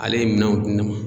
Ale ye minɛnw di ne ma.